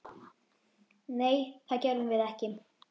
Nei, það gerðum við ekki.